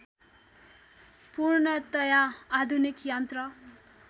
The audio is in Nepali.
पूर्णतया आधुनिक यन्त्र